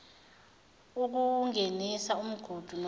ukuwungenisa umgudu nomgudu